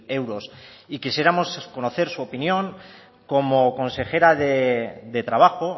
euros quisiéramos conocer su opinión como consejera de trabajo